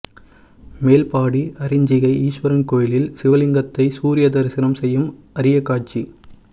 மேல்பாடி அரிஞ்சிகை ஈஸ்வரன் கோயிலில் சிவலிங்கத்தை சூரியன் தரிசனம் செய்யும் அரிய காட்சி